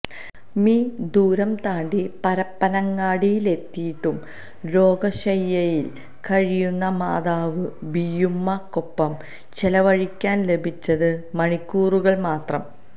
മി ദൂരം താണ്ടി പരപ്പനങ്ങാടിയിലെത്തിയിട്ടും രോഗശയ്യയില് കഴിയുന്ന മാതാവ് ബിയ്യുമ്മക്കൊപ്പം ചെലവഴിക്കാന് ലഭിച്ചത് മണിക്കൂറുകള് മാത്രം